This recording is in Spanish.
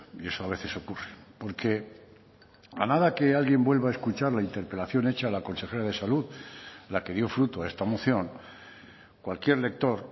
y eso a veces ocurre porque a nada que alguien vuelva a escuchar la interpelación hecha a la consejera de salud la que dio fruto a esta moción cualquier lector